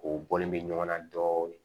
O bɔlen bɛ ɲɔgɔn na dɔɔnin